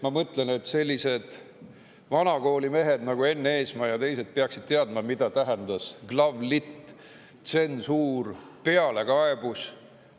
Ma mõtlen, et sellised vana kooli mehed nagu Enn Eesmaa ja teised peaksid teadma, mida tähendas Glavlit, tsensuur, pealekaebus.